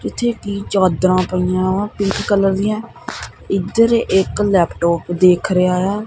ਜਿੱਥੇ ਕੀ ਚਾਦਰਾਂ ਪਈਆਂ ਵਾ ਪਿੰਕ ਕਲਰ ਦੀਆਂ ਇਧਰ ਇੱਕ ਲੈਪਟੋਪ ਦੇਖ ਰਿਹਾ ਆ।